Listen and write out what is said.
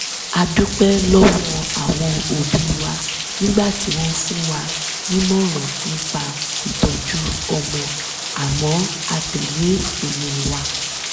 a dúpẹ́ lọ́wọ́ àwọn òbí wa nígbà tí wọ́n fún wa nímọ̀ràn nípa ìtọ́jú ọmọ àmọ́ a tẹ̀lé pinnu wa